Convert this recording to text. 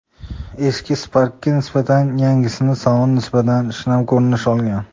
Eski Spark’ga nisbatan yangisining saloni nisbatan shinam ko‘rinish olgan.